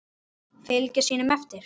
Fylgja sínum eftir.